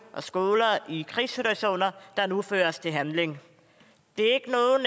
og skoler i krigssituationer der nu føres til handling det